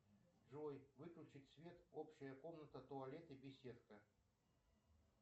джой выключить свет общая комната туалет и беседка